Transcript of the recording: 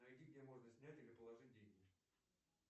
найди где можно снять или положить деньги